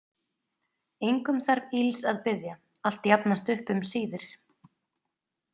Engum þarf ills að biðja, allt jafnast upp um síðir.